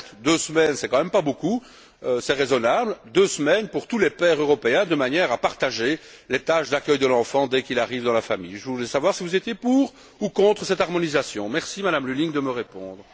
Certes, deux semaines, ce n'est pas beaucoup, mais c'est raisonnable, deux semaines, pour tous les pères européens de manière à partager les tâches d'accueil de l'enfant dès qu'il arrive dans la famille. Je voulais savoir si vous étiez pour ou contre cette harmonisation. Merci, Madame Lulling, de me répondre.